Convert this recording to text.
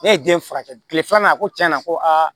Ne ye den furakɛ kile filanan a ko tiɲɛna ko aa